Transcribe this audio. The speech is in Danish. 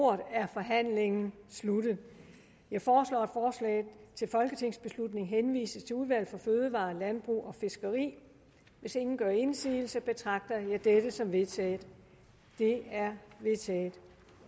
ordet er forhandlingen sluttet jeg foreslår at forslaget til folketingsbeslutning henvises til udvalget for fødevarer landbrug og fiskeri hvis ingen gør indsigelse betragter jeg dette som vedtaget det er vedtaget